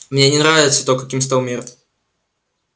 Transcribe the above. мне не нравится то каким стал мир